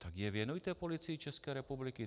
Tak je věnujte Policii České republiky.